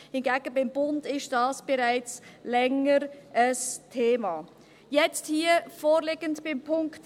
Hingegen ist dies beim Bund bereits seit Längerem ein Thema.